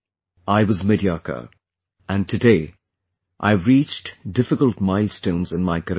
I was mediocre, and today, I have reached difficult milestones in my career